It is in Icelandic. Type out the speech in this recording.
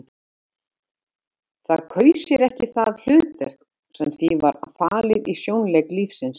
Það kaus sér ekki það hlutverk sem því var falið í sjónleik lífsins.